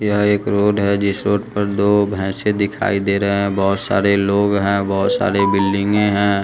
यह एक रोड है जिस रोड पर दो भैसे दिखाई दे रहे हैं बहोत सारे लोग हैं बहोत सारे बिल्डिंगें हैं।